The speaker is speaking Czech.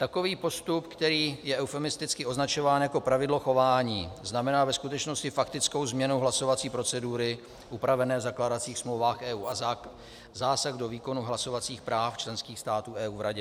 Takový postup, který je eufemisticky označován jako pravidlo chování, znamená ve skutečnosti faktickou změnu hlasovací procedury upravené v zakládacích smlouvách EU a zásah do výkonu hlasovacích práv členských států EU v Radě.